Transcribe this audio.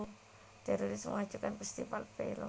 Teroris mengacaukan festival film